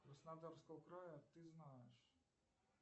краснодарского края ты знаешь